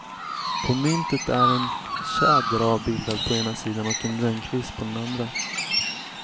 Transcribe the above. På myntet är en tjäder avbildad på ena sidan och en rönnkvist på den andra.